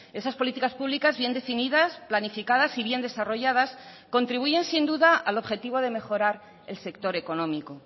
esas políticas públicas bien definidas planificadas y bien desarrolladas contribuyen sin duda al objetivo de mejorar el sector económico